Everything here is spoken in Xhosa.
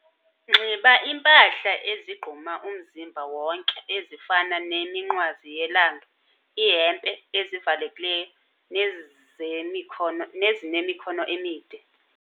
Nxiba iimpahla ezigquma umzimba wonke ezifana neminqwazi yelanga, iihempe ezivalekileyo nezinemikhono emide.